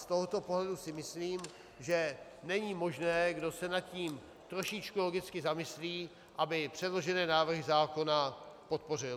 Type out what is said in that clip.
Z tohoto pohledu si myslím, že není možné, kdo se nad tím trošičku logicky zamyslí, aby předložené návrhy zákona podpořil.